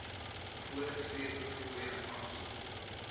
voorgeskrewe fooie aansoek